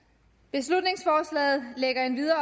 beslutningsforslaget lægger endvidere